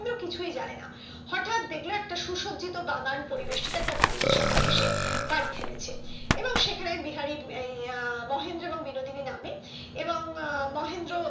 মহেন্দ্র কিছুই জানেনা হটাৎ দেখলো একটা সুসজ্জিত বাগান পরিবেষ্টিত একটা বাড়ির সামনে এসে গাড়ি থেমেছে এবং সেখানে বিহারি উম আহ মহেন্দ্র এবং বিনোদিনী নামে এবং মহেন্দ্র